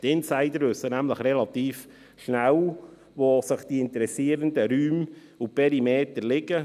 Insider wissen nämlich relativ schnell, wo die interessierenden Räume und Perimeter liegen.